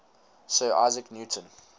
sir isaac newton